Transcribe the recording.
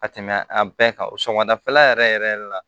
Ka tɛmɛ a bɛɛ kan sɔgɔmadafɛla yɛrɛ yɛrɛ la